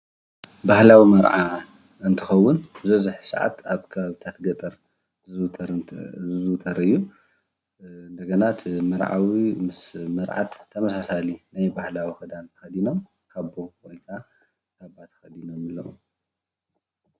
ባህላዊ መርዓ እንትኸውን ዝበዝሕ ስዓት ኣብ ከባቢታት ገጠር ዝዝውተር እዩ። እንደገና እቲ መርዓዊ ምስ መርዓት ተመሳሳሊ ናይ ባህላዊ ክዳን ተከዲኖም ካቦ ወይ ከዓ ካባ ተከዲኖም ኣለዉ።